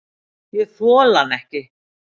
Ég þoli hann ekki.